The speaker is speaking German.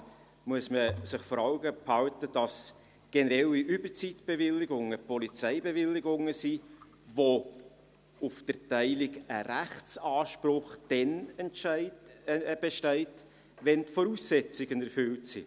In diesem Zusammenhang muss man sich vor Augen halten, dass generelle Überzeitbewilligungen Polizeibewilligungen sind, bei denen auf die Erteilung dann ein Rechtsanspruch besteht, wenn die Voraussetzungen erfüllt sind.